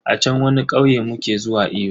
A chan wani kauye muke zuwa iyo.